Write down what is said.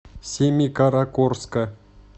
семикаракорска